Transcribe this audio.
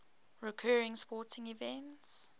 recurring sporting events